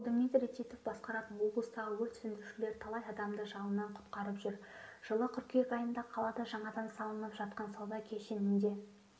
ал дмитрий титов басқаратын облыстағы өрт сөндірушілер талай адамды жалынан құтқарып жүр жылы қыркүйек айында қалада жаңадан салынып жатқан сауда кешенінде